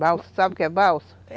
Balsa, sabe o que é balsa?